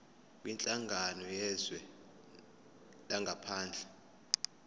kwinhlangano yezwe langaphandle